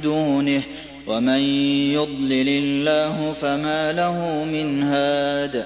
دُونِهِ ۚ وَمَن يُضْلِلِ اللَّهُ فَمَا لَهُ مِنْ هَادٍ